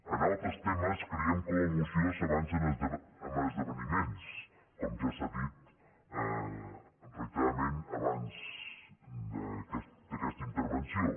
en altres temes creiem que la moció s’avança en esdeveniments com ja s’ha dit reiteradament abans d’aquesta intervenció